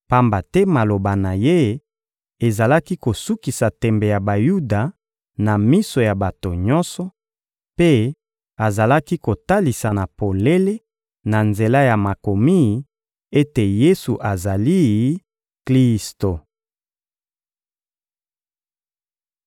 pamba te maloba na ye ezalaki kosukisa tembe ya Bayuda na miso ya bato nyonso, mpe azalaki kotalisa na polele, na nzela ya Makomi, ete Yesu azali Klisto.